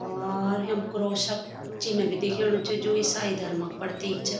और यम क्रॉस क चिन्ह भी दिखेणु च जू इसाई धर्म क प्रतिक च।